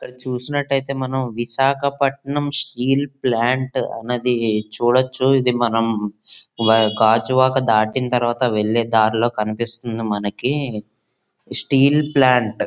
ఇక్కడ చూసినట్టు అయితే మనం విశాఖపట్టణం స్టీల్ ప్లాంట్ అనేది చూడొచ్చు. ఇది మనం గాజువాక దాటినా తరువాత వెళ్లే దారిలో కనిపిస్తుంది మనకి స్టీల్ ప్లాంట్ .